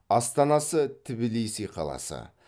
астанасы тбилиси қаласы